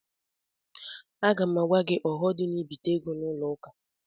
Aga m agwa gị ọghọm dị n'ibite ego n'ụlọ akụ.